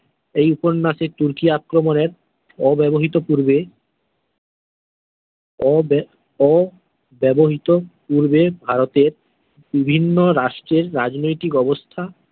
এই উপন্যাসে তুর্কি আক্রমণের অব্যবহৃত পূর্বে অ ব্য অব্যবহৃত পূর্বে ভারতের বিভিন্ন রাষ্ট্রের রাজনৈতিক অবস্থা।